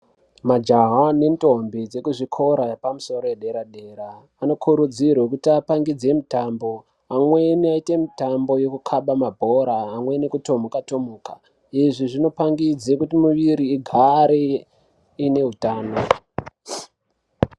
Majaha nendombi dzekuzvikora yepamusoro yedera-dera ,vane kurudziro yekuti apangidze mitambo. Amweni aite mitambo yekukhaba mabhora, amweni ekutomuka- tomuka. Izvi zvinopangidze kuti muviri igaare ine utano.